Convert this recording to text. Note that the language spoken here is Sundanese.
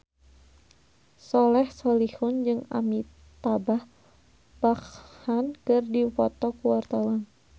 Soleh Solihun jeung Amitabh Bachchan keur dipoto ku wartawan